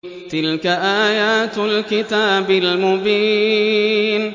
تِلْكَ آيَاتُ الْكِتَابِ الْمُبِينِ